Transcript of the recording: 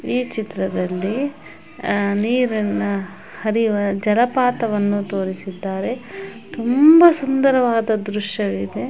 ಈ ಚಿತ್ರದಲ್ಲಿ ಅಹ್ ನೀರನ್ನ ಹರಿಯುವ ಜಲಪಾತವನ್ನು ತೋರಿಸಿದ್ದಾರೆ. ತುಂಬಾ ಸುಂದರವಾದ ದೃಶ್ಯವಿದೆ.